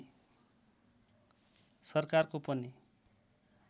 सरकारको पनि